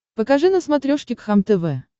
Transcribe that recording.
покажи на смотрешке кхлм тв